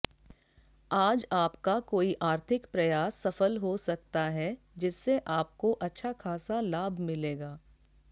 आज आपका कोई आर्थिक प्रयास सफल हो सकता है जिससे आपको अच्छा खासा लाभ मिलेगा